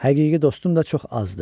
Həqiqi dostum da çox azdır.